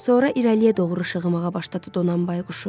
Sonra irəliyə doğru işıqımağa başladı Donanbay quşu.